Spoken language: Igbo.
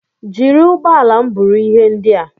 Jiri ụgbọala m buru ihe ndị a!